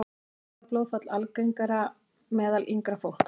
Heilablóðfall algengara meðal yngra fólks